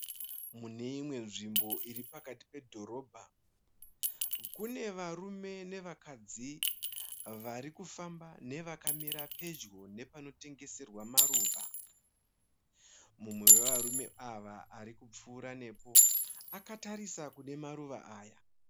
Muneimwe nzvimbo iri pakati pe dhorobha kune varume nevakadzi varikufamba nevakamira pedyo nepanotengeswa maruva. Mumwe wavarume ava arikupfuura nepo akatarisa kune maruva aya.